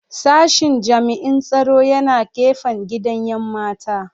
Sashen jami'in tsaro yana gefen gidan 'yan mata